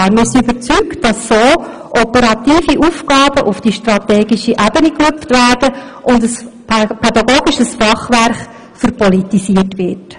Wir sind überzeugt, dass auf diese Weise operative Aufgaben auf die strategische Ebene gehoben würden, und damit ein pädagogisches Fachwerk verpolitisiert würde.